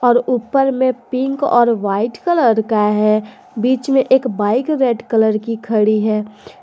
और ऊपर में पिक और वाइट कलर का है बीच में एक बाइक रेड कलर की खड़ी है।